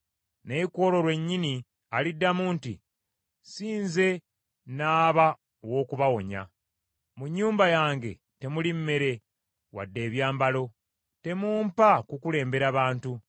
Naye ku olwo lwennyini aliddamu nti, “Si nze n’aba ow’okubawonya, mu nnyumba yange temuli mmere, wadde ebyambalo. Temumpa kukulembera bantu!”